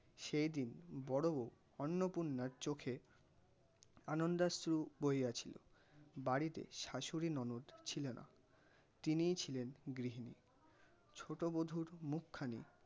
সেই দিন বড় বউ অন্নপূর্ণার চোখে আনন্দাশ্রু বহিয়াছিল. বাড়িতে শাশুড়ি ননদ ছিলনা তিনিই ছিলেন গৃহিণী ছোটো বধূর মুখখানি